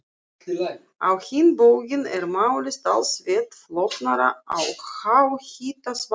Á hinn bóginn er málið talsvert flóknara á háhitasvæðum.